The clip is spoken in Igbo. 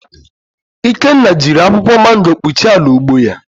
Ikenna jiri akwụkwọ mango kpuchie ala ugbo ya